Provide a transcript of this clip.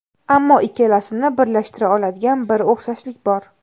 Ammo ikkalasini birlashtira oladigan bir o‘xshashlik bor.